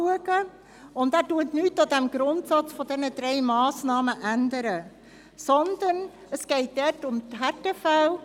Zudem ändert der Antrag nichts am Grundsatz dieser drei Massnahmen, vielmehr geht es hier um die Härtefälle.